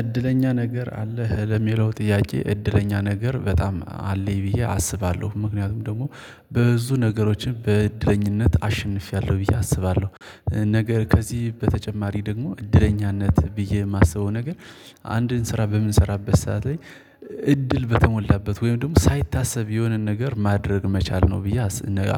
እድለኛ ነገር አለህ ለሚለው ጥያቄ እድለኛ ነገር በጣም አለኝ ብዬ አስባለሁ ምክንያቱም ደግሞ በብዙ ነገሮችን በእድለኝነት አሸንፌያለሁ ብዬ አስባለሁ። ነገር ከዚህ በተጨማሪ ደግሞ እድለኛነት ብዬ የማስበው ነገር አንድን ስራ በምንሰራበት ሰዓት ላይ እድል በተሞላበት ወይም ደግሞ ሳይታሰብ የሆነን ነገር ማድረግ መቻል ነው ብዬ